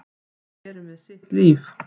Þau eru með sitt líf.